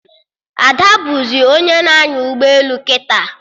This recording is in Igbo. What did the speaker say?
Ada bụzị onye na-anya ụgbọelu kịta